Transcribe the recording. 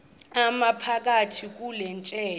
iphakathi kule tyeya